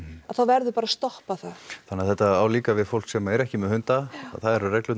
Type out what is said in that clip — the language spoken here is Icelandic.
þá verður bara að stoppa það þannig þetta á líka við fólk sem er ekki með hunda það eru reglurnar